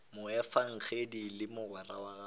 moefangedi le mogwera wa gagwe